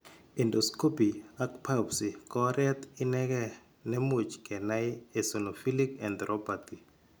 Endoscopy ak biopsy ko oret inegee ne much kenai eosinophilic enteropathy.